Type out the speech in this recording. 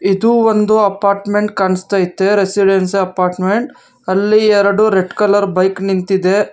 ಇದು ಒಂದು ಅಪಾರ್ಟ್ಮೆಂಟ್ ಕಾಣಿಸ್ತೖತೆ ರೆಸಿಡೆನ್ಸಿ ಅಪಾರ್ಟ್ಮೆಂಟ್ ಅಲ್ಲಿ ಎರಡು ರೆಡ್ ಕಲರ್ ಬೈಕ್ ನಿಂತಿದೆ.